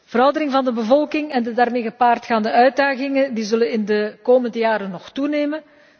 Veroudering van de bevolking en de daarmee gepaard gaande uitdagingen zullen in de komende jaren nog toenemen.